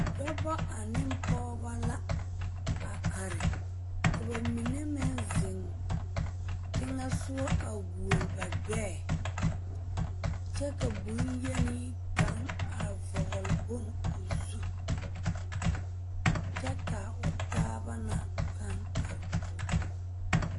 Dɔbɔ ane pɔgebɔ la a are ka ba mine meŋ zeŋ teŋɛ sɔgɔ a goɔle ba gbɛɛ kyɛ ka boŋyeni kaŋ a vɔgle boŋ o zu kyɛ ka o taaba na pãã are kɔge o.